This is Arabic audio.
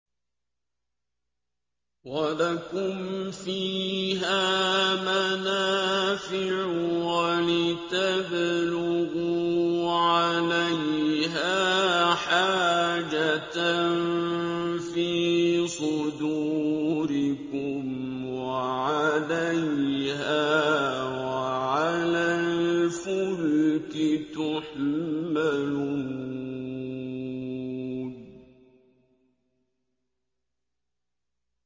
وَلَكُمْ فِيهَا مَنَافِعُ وَلِتَبْلُغُوا عَلَيْهَا حَاجَةً فِي صُدُورِكُمْ وَعَلَيْهَا وَعَلَى الْفُلْكِ تُحْمَلُونَ